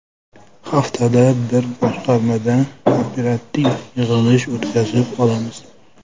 Haftada bir boshqarmada operativ yig‘ilish o‘tkazib olamiz.